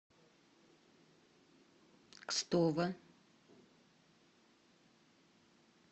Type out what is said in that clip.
кстово